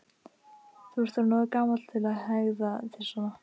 Þú ert orðinn of gamall til að hegða þér svona.